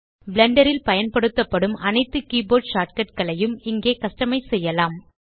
Blender ல் பயன்படுத்தப்படும் அனைத்து கீபோர்ட் ஷார்ட்கட் களையும் இங்கே கஸ்டமைஸ் செய்யலாம்